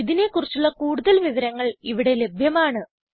ഇതിനെ കുറിച്ചുള്ള കൂടുതൽ വിവരങ്ങൾ ഇവിടെ ലഭ്യമാണ്